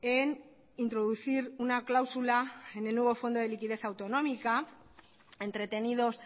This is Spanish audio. en introducir una cláusula en el nuevo fondo de liquidez autonómica entretenidos